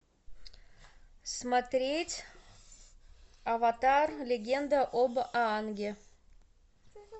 смотреть аватар легенда об аанге